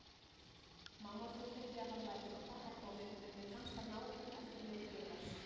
Mamma fullyrti að hann væri frá pabba kominn, en mér fannst hann nákvæm eftirmynd Viðars.